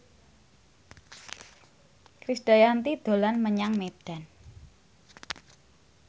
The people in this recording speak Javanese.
Krisdayanti dolan menyang Medan